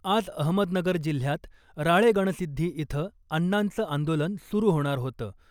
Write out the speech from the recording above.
आज अहमदनगर जिल्ह्यात राळेगणसिद्धी इथं अण्णांचं आंदोलन सुरु होणार होतं .